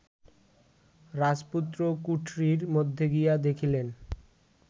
রাজপুত্র কুঠরির মধ্যে গিয়া দেখিলেন